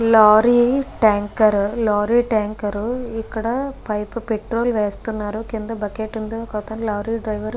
Lorry tanker lorry tanker ఇక్కడ pipe petrol వేస్తునారు. ఇక్కడ కింద బకెట్ వుంది ఓకే అతను లోర్రి డ్రైవర్ .